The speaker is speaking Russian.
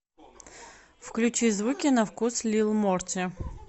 включи звуки на вкус лил морти